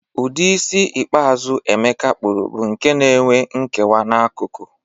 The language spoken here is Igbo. Ụdị isi ikpeazụ Ebuka kpụrụ bụ nke n'enwe nkewa n'akụkụ